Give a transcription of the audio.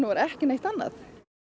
ekki neitt annað